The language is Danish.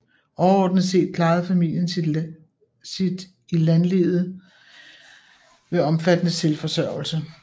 Overordnet set klarede familien sit i landlivet ved omfattende selvforsørgelse